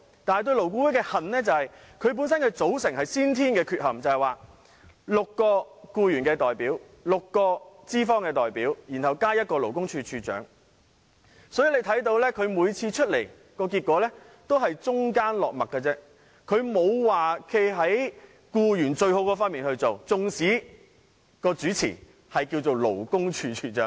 但是，對勞顧會的恨，是因為其組成有先天缺憾，勞顧會由6名僱員代表、6名資方代表，再加勞工處處長組成，可想而知，勞顧會每次的商討結果都只是中間落墨，不會對僱員最有利，縱使主持的是勞工處處長。